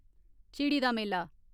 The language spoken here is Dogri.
झिड़ी दा मेला